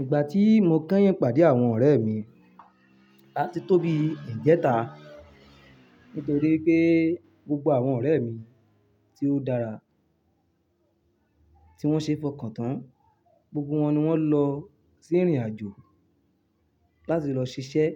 Ìgbà tí mo kẹ́yìn pàdé àwọn ọ̀rẹ́ mi, a ti tóbi ìjẹta nítorí pé gbogbo àwọn ọ̀rẹ́ mi tí ó dára tí wọ́n ṣe fọkàn tán, gbogbo wọn ni wọ́n lọ sí ìrìnàjò láti lọ ṣiṣẹ́,